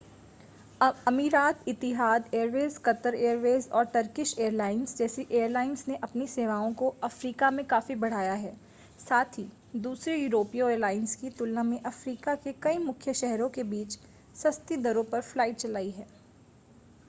अमीरात Etihad Airways Qatar Airways और Turkish Airlines जैसी एयरलाइंस ने अपनी सेवाओं को अफ़्रीका में काफ़ी बढ़ाया है साथ ही दूसरी यूरोपीय एयरलाइंस की तुलना में अफ़्रीका के कई मुख्य शहरों के बीच सस्ती दरों पर फ्लाइट चलाई हैं